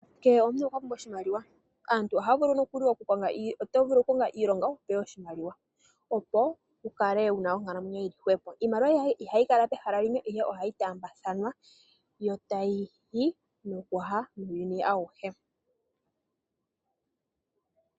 Uuna omuntu a pumbwa oshimaliwa ota vulu okukonga iilonga opo wu kale wu na oonkalamwenyo yili jwepo. Iimaliwa ihayi kala pehala limwe ashike ohayi taambathanwa muuyuni awuhe.